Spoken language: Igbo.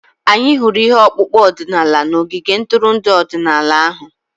Anyị hụrụ ihe ọkpụkpụ ọdịnala n'ogige ntụrụndụ ọdịnala ahụ.